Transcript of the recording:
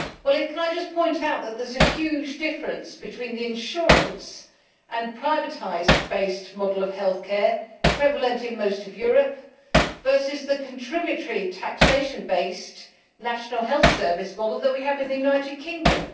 I would like to point out that there is a huge difference between the insurance and privatised-based model of healthcare prevalent in most of Europe and the contributory taxation-based National Health Service model that we have in the United Kingdom.